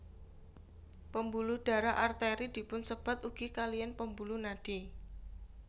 Pembuluh darah Arteri dipunsebat ugi kaliyan pembuluh nadi